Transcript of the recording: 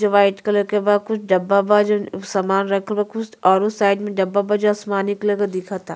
जो white colour के बा। कुछ डब्बा बा जो सामान रखल बा कुछ और उस साइड में डब्बा बा जो आसमानी कलर के दिखता।